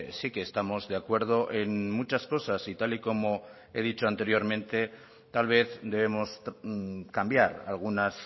sí que estamos de acuerdo en muchas cosas y tal y como he dicho anteriormente tal vez debemos cambiar algunas